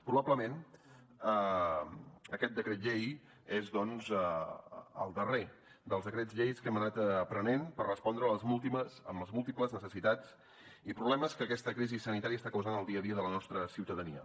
probablement aquest decret llei és doncs el darrer dels decrets lleis que hem anat prenent per respondre les múltiples necessitats i problemes que aquesta crisi sanitària està causant al dia a dia de la nostra ciutadania